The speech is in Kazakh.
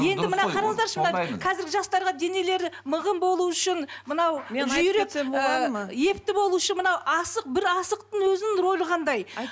енді мына қараңыздаршы мына қазіргі жастарға денелері мығым болу үшін мынау жүйрек ы епті болуы үшін мынау асық бір асықтың өзінің рөлі қандай